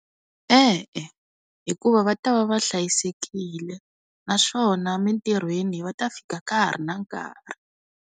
E-e, hikuva va ta va va hlayisekile naswona mintirhweni va ta fika ka ha ri na nkarhi.